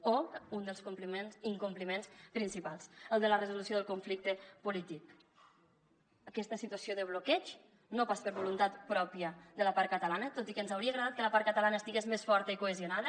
o un dels incompliments principals el de la resolució del conflicte polític aquesta situació de bloqueig no pas per voluntat pròpia de la part catalana tot i que ens hauria agradat que la part catalana estigués més forta i cohesionada